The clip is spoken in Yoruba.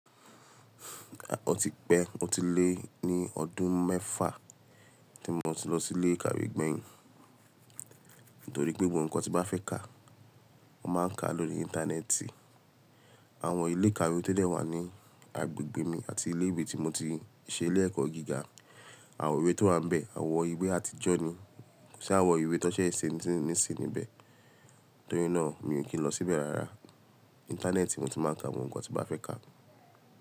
À, ọ típẹ́ o ti lé ní ọdún mẹ́fà tí mo ti lọ sí ilé ìkàwé gbẹ̀yìn. Nítorí pé gbogbo ǹkan tí mo fẹ́ kà, mo máa ń kà á lórí Íńtánẹ́ẹ̀tì. Àwọn ilé ìkàwé tó dẹ̀ wà ní agbègbè mi àti ilé ìwé tí mo ti ṣe ilé ẹ̀kọ́ gíga, àwọn ìwé tó wà n bẹ̀ àwọn ìwé àtijọ́ ni, ko si àwọn ìwé tọ ṣẹ n sìn ti ń níbẹ̀. Nítorí náà mi ò kí n lọ síbẹ̀ rárá. Íńtánẹ́ẹ̀tì mo ti máa ń ka àwọn ǹkan tí n ba fẹ́ kà.